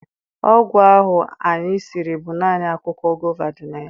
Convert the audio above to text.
Ọgwụ ahụ anyị siri bụ naanị akwụkwọ gova dị na ya.